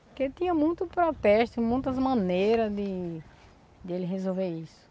Porque tinha muito protesto, muitas maneiras de de ele resolver isso